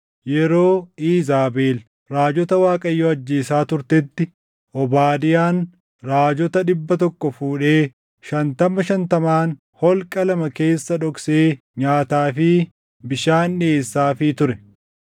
Yeroo Iizaabel raajota Waaqayyoo ajjeesaa turtetti Obaadiyaan raajota dhibba tokko fuudhee shantama shantamaan holqa lama keessa dhoksee nyaataa fi bishaan dhiʼeessaafii ture.